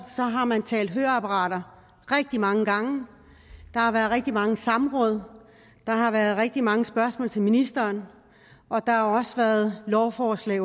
har man talt høreapparater rigtig mange gange der har været rigtig mange samråd der har været rigtig mange spørgsmål til ministeren og der har også undervejs været lovforslag